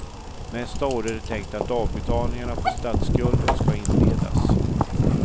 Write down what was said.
Nästa år är det tänkt att avbetalningarna på statsskulden ska inledas.